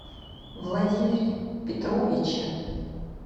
владимире петровиче